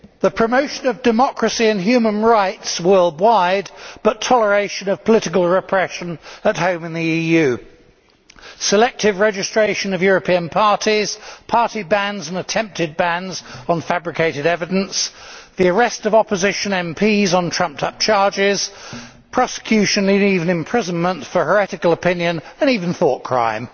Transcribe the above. Madam President, we have the promotion of democracy and human rights worldwide but toleration of political repression at home in the EU, selective registration of European parties, party bans and attempted bans on fabricated evidence, the arrest of opposition MPs on trumped up charges, prosecution meaning even imprisonment for heretical opinion, and even thought crime.